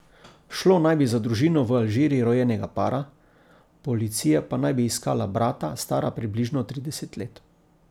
Šlo naj bi za družino v Alžiriji rojenega para, policija pa naj bi iskala brata, stara približno trideset let.